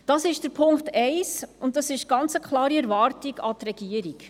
Das ist Punkt 1, und das ist eine ganz klare Erwartung an die Regierung.